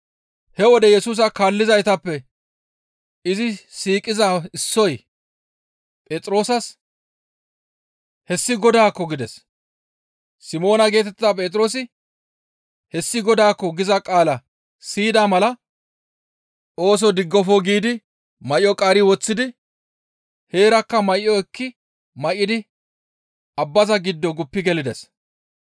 He wode Yesusa kaallizaytappe izi siiqiza issoy Phexroosas, «Hessi Godaakko!» gides. Simoona geetettiza Phexroosi, «Hessi Godaakko!» giza qaala siyida mala ooso diggofo giidi may7o qaari woththidi kallo diza gishshas heerakka may7o ekki may7idi abbaza giddo guppi gelides.